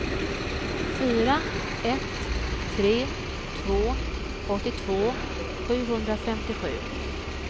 fyra ett tre två åttiotvå sjuhundrafemtiosju